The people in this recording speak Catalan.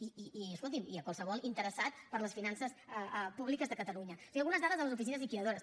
i a qualsevol interessat per les finances públiques de catalunya o sigui amb unes dades de les oficines liquidadores